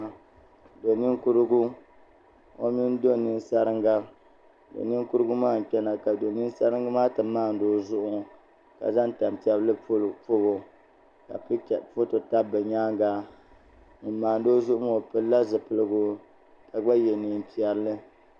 Do ninkurigu o mini do ninsaringa do ninkurigu maa n kpɛna ka do ninsaringi maa ti maandi o zuɣu ka zaŋ tanpiɛlli pobo ka foto tabi bi nyaanga ŋun maandi o zuɣu maa o pilila zipiligu ka gba yɛ neen piɛlli